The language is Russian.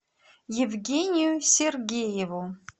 евгению сергееву